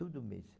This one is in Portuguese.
Todo mês.